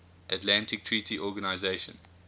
atlantic treaty organisation